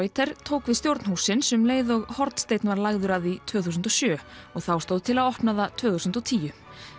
tók við stjórn hússins um leið og hornsteinninn var lagður að því tvö þúsund og sjö og þá stóð til að opna það tvö þúsund og tíu